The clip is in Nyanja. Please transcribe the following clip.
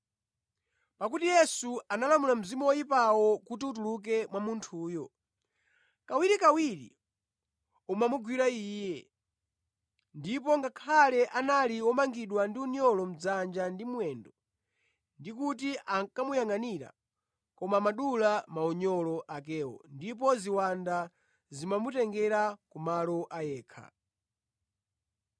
Pakuti Yesu analamula mzimu woyipawo kuti utuluke mwa munthuyo. Kawirikawiri umamugwira iye, ndipo ngakhale anali womangidwa ndi unyolo dzanja ndi mwendo ndi kuti ankamuyangʼanira, koma amadula maunyolo akewo ndipo ziwanda zimamutengera kumalo a yekha.